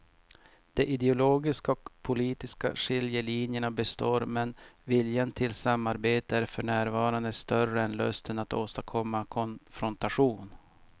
De ideologiska och politiska skiljelinjerna består men viljan till samarbete är för närvarande större än lusten att åstadkomma konfrontation.